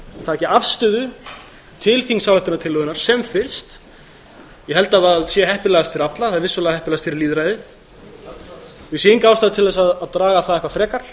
taki afstöðu til þingsályktunartillögunnar sem fyrst ég held að það sé heppilegast fyrir alla það er vissulega heppilegast fyrir lýðræðið og ég sé enga ástæðu til að draga það eitthvað frekar